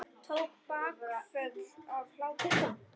Tók bakföll af hlátri.